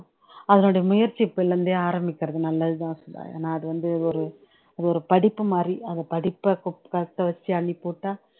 அதனுடைய முயற்சி இப்பையில இருந்தே ஆரம்பிக்குறது நல்லதுதான் சுதா ஏனா அதுவந்து ஒரு ஒரு படிப்புமாதிரி அந்த படிப்ப குப் காக்க வச்சு அள்ளி போட்டா